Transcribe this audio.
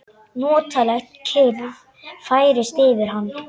Notaleg kyrrð færist yfir hann.